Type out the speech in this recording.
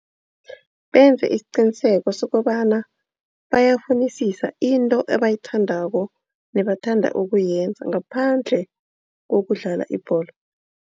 Benze isiqiniseko sokobana bayafunisisa into ebayithandako nebathanda ukuyenza ngaphandle kokudlala ibholo.